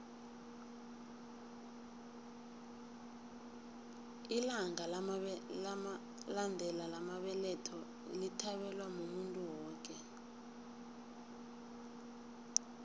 ilanga lamandela lamabeletho lithabelwa muntu woke